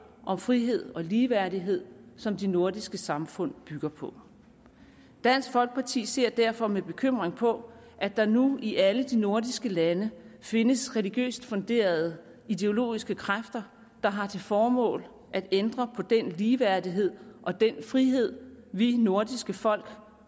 om frihed og ligeværdighed som de nordiske samfund bygger på dansk folkeparti ser derfor med bekymring på at der nu i alle de nordiske lande findes religiøst funderede ideologiske kræfter der har til formål at ændre på den ligeværdighed og den frihed vi nordiske folk